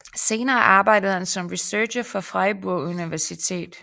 Senere arbejdede han som researcher på Freiburg Universitet